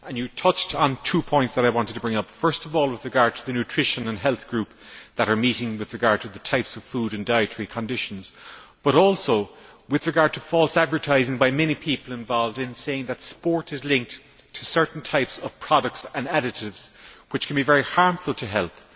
The Commissioner touched on two points that I wanted to bring up first of all, with regard to the Nutrition and Health Group that is meeting with regard to types of food and dietary conditions, but also with regard to false advertising by many people involved in saying that sport is linked to certain types of products and additives, which can be very harmful to health.